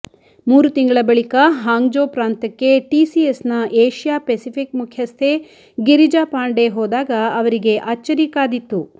ಮೂರು ತಿಂಗಳ ಬಳಿಕ ಹಾಂಗ್ಜೋ ಪ್ರಾಂತಕ್ಕೆ ಟಿಸಿಎಸ್ನ ಏಷಿಯಾ ಪೆಸಿಫಿಕ್ ಮುಖ್ಯಸ್ಥೆ ಗಿರಿಜಾ ಪಾಂಡೆ ಹೋದಾಗ ಅವರಿಗೆ ಅಚ್ಚರಿ ಕಾದಿತ್ತು